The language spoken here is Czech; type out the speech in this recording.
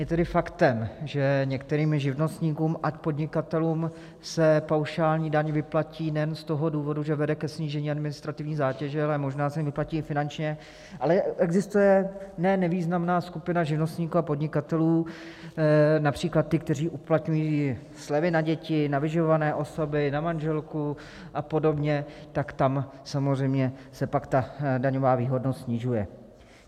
Je tedy faktem, že některým živnostníkům a podnikatelům se paušální daň vyplatí nejen z toho důvodu, že vede ke snížení administrativní zátěže, ale možná se jim vyplatí i finančně, ale existuje ne nevýznamná skupina živnostníků a podnikatelů, například ti, kteří uplatňují slevy na děti, na vyživované osoby, na manželku a podobně, tak tam samozřejmě se pak ta daňová výhodnost snižuje.